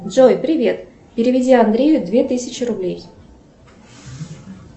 джой привет переведи андрею две тысячи рублей